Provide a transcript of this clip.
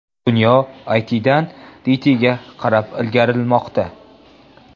Dunyo ITdan DTga qarab ilgarilamoqda.